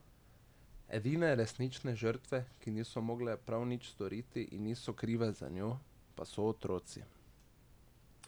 Edine resnične žrtve, ki niso mogle prav nič storiti in niso krive za njo, pa so otroci.